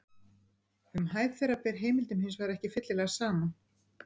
Um hæð þeirra ber heimildum hins vegar ekki fyllilega saman.